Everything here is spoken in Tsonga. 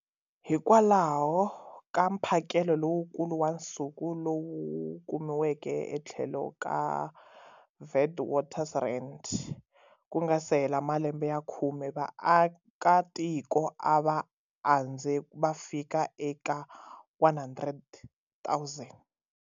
Hikwalaho ka mphakelo lowukulu wa nsuku lowu kumiweke etlhelo ka Witwatersrand, ku nga si hela malembe ya khume, vaakatiko a va andze va fika eka 100,000.